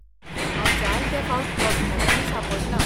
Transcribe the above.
हांव जायते फावट अपघातांनी सांपडलां.